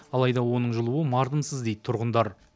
алайда оның жылуы мардымсыз дейді тұрғындар